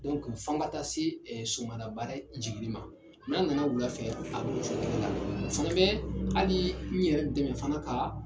Dɔni fɔ an ka taa se sumalabaara jigini ma n'a nana wula fɛ,a bɛ Kocogo kelen na o fɛna bɛ hali n yɛrɛ dɛmɛ fana ka